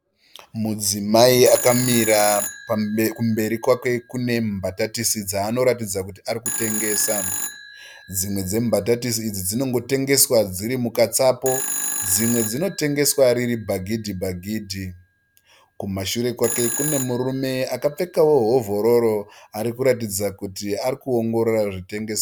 Mudzimai akamira kumberi kwake kune mbatatisi dzaanoratidza kuti arikutengesa. Dzimwe dzembatatisi idzi dzinongotengesa dziri mukatsapo dzimwe dzinotengeswa riri bhaghidhi bhagidhi. Kumashure kwake kune murume akapfekawo hovhororo arikuratidza kuti arikuongorora zvinotengeswa.